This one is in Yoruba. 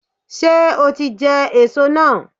Ṣé o ti jẹ èso náà